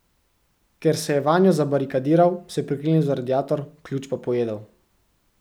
Ker se je vanjo zabarikadiral, se priklenil za radiator, ključ pa pojedel.